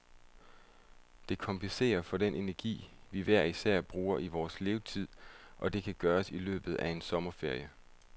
Det kompenserer for den energi, vi hver især bruger i vores levetid, og det kan gøres i løbet af en sommerferie.